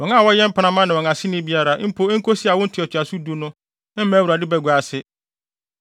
Wɔn a wɔyɛ mpenamma ne wɔn aseni biara, mpo enkosi awo ntoatoaso du no, mma Awurade bagua ase.